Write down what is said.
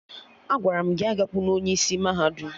Agwara m gị agakwuna onye isi mahadum!